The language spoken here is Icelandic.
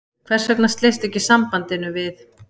Hvers vegna sleistu sambandinu við